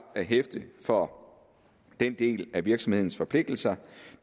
at hæfte for den del af virksomhedens forpligtelser